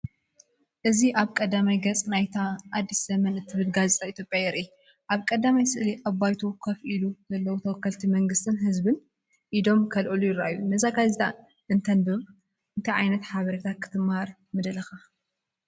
እዚ ኣብ ቀዳማይ ገጽ ናይታ “ኣዲስ ዘመን” እትብል ጋዜጣ ኢትዮጵያ የርኢ። ኣብ ቀዳማይ ስእሊ ኣብ ባይቶ ኮፍ ኢሎም ዘለዉ ተወከልቲ መንግስትን ህዝብን ኢዶም ከልዕሉ ይረኣዩ። ነዛ ጋዜጣ እንተ ተንብባ፡ እንታይ ዓይነት ሓበሬታ ክትመሃር ምደለኻ?